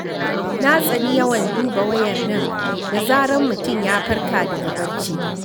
Na tsani yawan duba wayar nan da zarar mutum ya farka daga barci.